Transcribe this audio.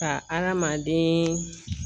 Ka hadamaden